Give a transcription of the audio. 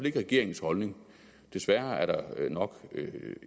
ikke regeringens holdning desværre er der nok